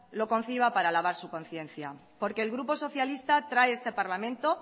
lo conciba para lavar su conciencia porque el grupo socialista trae a este parlamento